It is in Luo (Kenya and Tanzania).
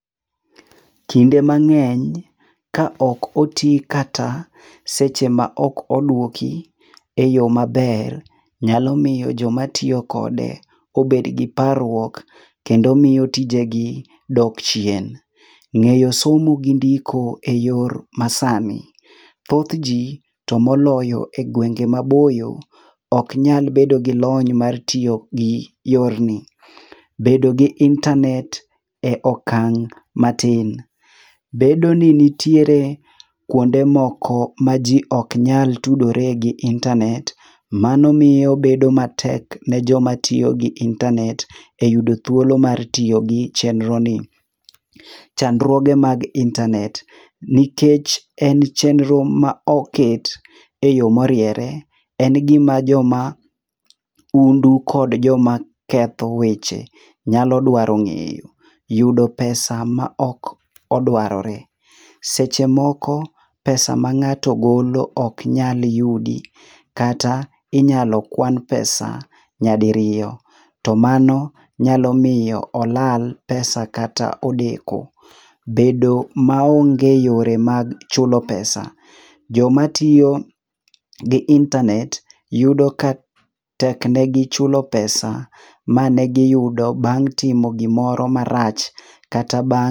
Kinde mang'eny kaok oti kata seche ma ok oduoki eyo maber, nyalo miyo joma tiyo kode obed gi parruok kendo miyo tijegi dok chien.Ng'eyo somo gi ndiko eyor masani, thothji tomoloyo egwenge maboyo ok nyal bedo gilony mar tiyo gi yorni. Bedo gi intanet e okang' matin, bedo ni nitiere kuonde moko maji ok nyal tudore gi intanet, mano miyo bedo matek nijoma tiyo gi intanet eyudo thuolo mar tiyo gi chenro ni. Chandruoge mag intanet. Nikech en chenro ma oket eyo moriere, en gima jo maundu kod joma ketho weche nyalo dwaro ng'eyo. Yudo pesa maok odwarore. Seche moko pesa mang'ato golo ok nyal yudi, kata inyalo kwan pesa nyadiriyo, to mano nyalo miyo olal pesa kata odeko. Bedo maonge yore mag chulo pesa. Joma tiyo gi intanet yudo ka tek negi chulo pesa manegiyudo bang' timo gimoro marach kata bang'